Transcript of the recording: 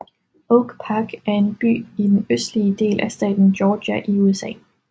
Oak Park er en by i den østlige del af staten Georgia i USA